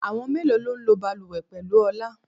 Àwọn mélòó lọ ń lọ bàlùwẹ̀ pẹ̀lú Ọlá?